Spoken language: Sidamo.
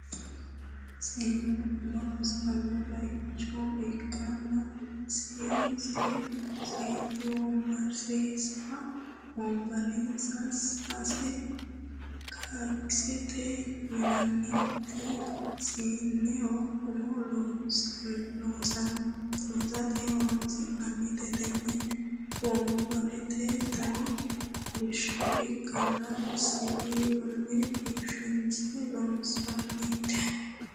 seennu umo loosiranno bayicho ikanna sase wonbarenna sase kakissete yinanniti seenneho umo loosateno horonsi'nannite tenne wonbarete danni kolisho ikanna siwiilunni biifinse loonsoonite.